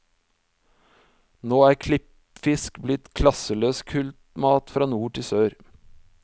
Nå er klippfisk blitt klasseløs kultmat fra nord til sør.